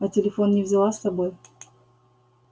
а телефон не взяла с собой